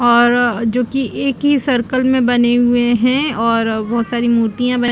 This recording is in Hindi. और जो की एक ही सर्कल मे बने हुए है और बहुत सारी मूर्तिया बनी--